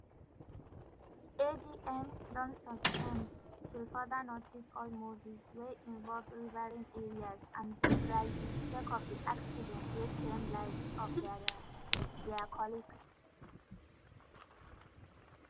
agn don suspend till further notice all movies wey involve riverine areas and boat riding sake of di accident wey claim lives of dia dia colleagues.